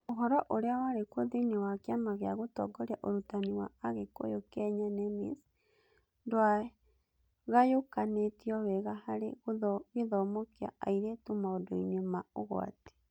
Ũhoro ũrĩa warĩ kuo thĩinĩ wa Kĩama gĩa Gũtongoria Ũrutani wa Agĩkũyũ Kenya (NEMIS) ndwagayũkanĩtio wega harĩ gĩthomo kĩa airĩtu maũndũ-inĩ ma ũgwati.